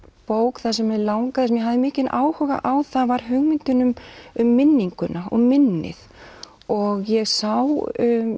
bók þar sem mig langaði ég hafði mikinn áhuga á það var hugmyndin um minninguna og minnið og ég sá